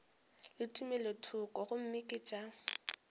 le tumelothoko gomme ke tša